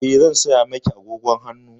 Eh, zan saya miki agogon hannu.